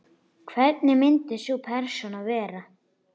Hvernig myndi sú persóna vera?